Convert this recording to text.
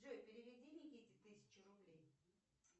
джой переведи никите тысячу рублей